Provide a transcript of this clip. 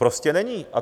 Prostě není.